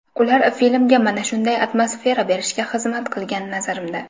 Ular filmga mana shunday atmosfera berishga xizmat qilgan, nazarimda.